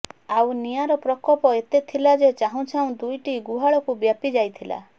ଆଉ ନିଆଁର ପ୍ରକୋପ ଏତେ ଥିଲା ଯେ ଚାହୁଁଚାହୁଁ ଦୁଇଟି ଗୁହାଳକୁ ବ୍ୟାପୀ ଯାଇଥିଲା